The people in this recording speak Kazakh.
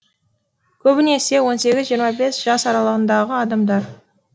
көбінесе он сегіз жиырма бес жас аралығындағы адамдар